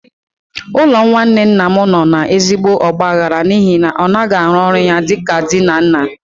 Ụlọ nwanne nna m nọ n'ezigbo ọgbaghara n'ihi na ọ naghị arụ ọrụ ya dị ka di na nna.